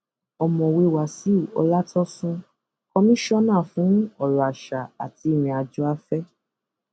ọmọwé wàsíù ọlátọsùn kọmíṣánná fún ọrọ àṣà àti ìrìnàjò afẹ